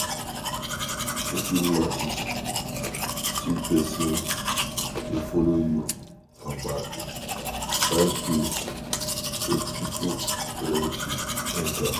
If you notice say pesin dey follow you for back, find place wey pipo plenty enter.